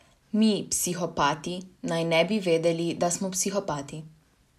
Mi, psihopati, naj ne bi vedeli, da smo psihopati.